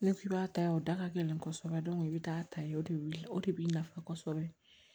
N'i k'i b'a ta yan o da ka gɛlɛn kosɛbɛ i bɛ taa ta yen o de bɛ wuli o de b'i nafa kosɛbɛ